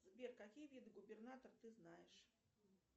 сбер какие виды губернатор ты знаешь